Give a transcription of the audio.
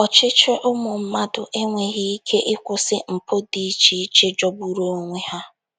Ọchịchị ụmụ mmadụ enweghị ike ịkwụsị mpụ dị iche iche jọgburu onwe ha.